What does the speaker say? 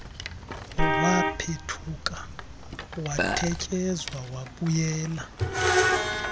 waphethuka watetyeza wabuyela